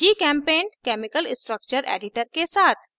gchempaint chemical structure editor के साथ